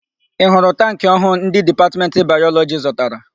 Ị hụrụ tankị ọhụụ ndị Dipatmentị Bayọlọjị zụtara?